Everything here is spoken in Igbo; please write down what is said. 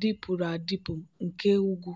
dịpụrụ adịpụ nke ugwu.